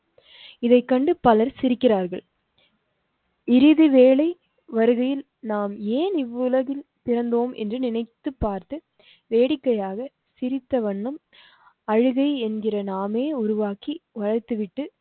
இதை கண்டு பலர் சிரிகிறார்கள். இறுதிவேளை வருகையில் நாம் ஏன் இவ்வுலகில் பிறந்தோம் என்று நினைத்து பார்த்து வேடிக்கையாக சிரித்த வண்ணம் அழுகை என்கிற நாமே உருவாக்கி வைத்துவிட்டு